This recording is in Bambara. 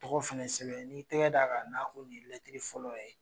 Tɔgɔ fɛnɛ sɛbɛn n'i tɛgɛ da ka nako ni ye fɔlɔ ye.